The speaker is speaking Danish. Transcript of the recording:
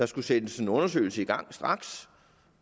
skulle sættes en undersøgelse i gang